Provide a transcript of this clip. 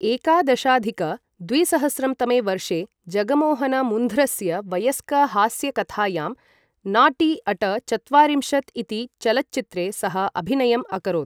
एकादशाधिक द्विसहस्रं तमे वर्षे जगमोहनमुन्ध्रस्य वयस्कहास्यकथायां नॉटी अट चत्वारिंशत् इति चलच्चित्रे सः अभिनयम् अकरोत् ।